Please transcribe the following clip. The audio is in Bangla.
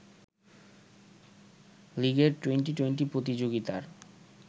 লীগের টুয়েন্টি২০ প্রতিযোগিতার